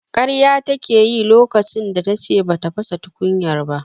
Karya take yi lokacin da tace bata fasa tukunyar ba.